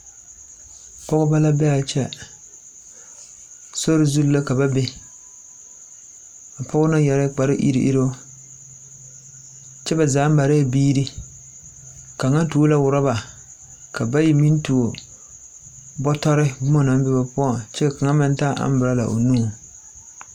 Pɔgebɔ la be a kyɛ sori zuŋ la ka ba bee a pɔge na yɛrɛɛɛ kpare eruŋ eruŋ kyɛ ba zaa marɛɛ biiri kaŋa tuo la rɔba ka bayi meŋ tuo bɔtɔri boma naŋ be o poɔŋ kyɛ ka kaŋ meŋ taa amborɔla o nuŋ.